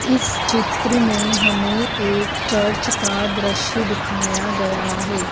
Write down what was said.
इस चित्र में हमें एक चर्च का दृश्य दिखाया गया है।